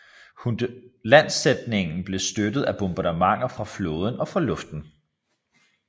Landsætningen blev støttet af bombardementer fra flåden og fra luften